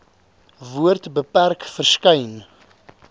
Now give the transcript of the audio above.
woord beperk verskyn